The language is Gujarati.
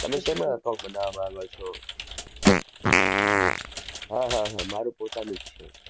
તમે શેમાં account બનાવા માંગો છો? હા હા હા મારે પોતાનું જ છે.